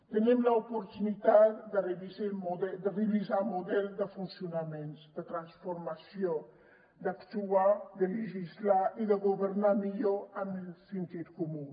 tenim l’oportunitat de revisar el model de funcionament de transformació d’actuar de legislar i de governar millor amb el sentit comú